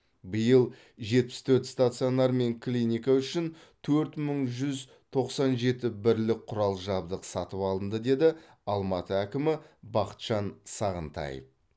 биыл жетпіс төрт стационар мен клиника үшін төрт мың жүз тоқсан жеті бірлік құрал жабдық сатып алынды деді алматы әкімі бақытжан сағынтаев